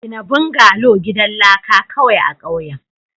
gina bungalow gidan laka kawai a ƙauyen.